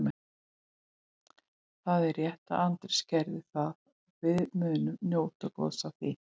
Það er rétt að Andrés gerði það og við munum njóta góðs af því.